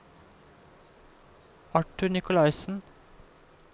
Arthur Nikolaisen